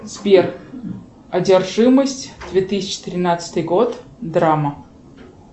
сбер одержимость две тысячи тринадцатый год драма